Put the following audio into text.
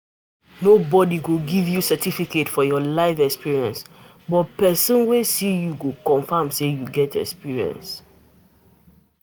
Nobody go give your your certificate for your life experience but person swy see you go confirm sey you get experience